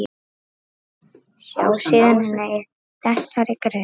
Sjá síðar í þessari grein.